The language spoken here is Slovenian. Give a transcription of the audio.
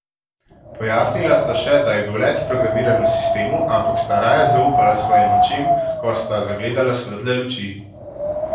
Pojasnila sta še, da je bil let programiran v sistemu, ampak sta raje zaupala svojim očem, ko sta zagledala svetle luči.